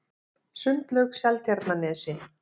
Sundlaug Seltjarnarnesi